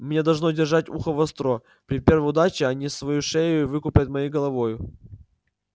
мне должно держать ухо востро при первой неудаче они свою шею выкупят моею головою